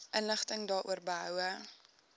inligting daaroor behoue